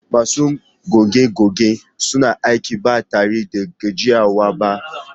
Masu goge-gogen suna aiki ba tare da gajiyawa ba